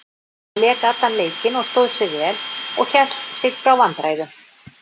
Hann lék allan leikinn og stóð sig vel og hélt sig frá vandræðum.